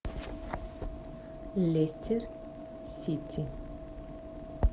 лестер сити